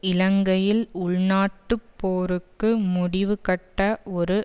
இலங்கையில் உள்நாட்டுப் போருக்கு முடிவு கட்ட ஒரு